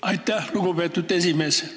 Aitäh, lugupeetud esimees!